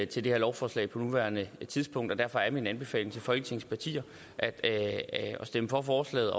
til det her lovforslag på nuværende tidspunkt og derfor er min anbefaling til folketingets partier at stemme for forslaget